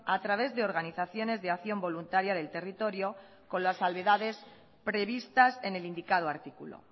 a través de organizaciones de acción voluntaria del territorio con las salvedades previstas en el indicado artículo